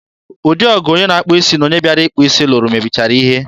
ụdị ọgụ onye na-akpụ isi na onye bịara ịkpụ isi lụrụ mebichara ihe.